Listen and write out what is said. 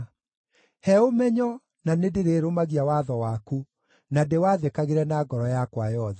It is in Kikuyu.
He ũmenyo, na nĩndĩrĩrũmagia watho waku na ndĩwathĩkagĩre na ngoro yakwa yothe.